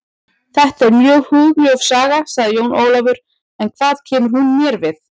Þetta er mjög hugljúf saga, sagði Jón Ólafur, en hvað kemur hún mér við?